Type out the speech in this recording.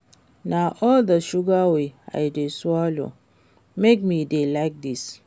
Na all the sugar wey I dey swallow make me dey like dis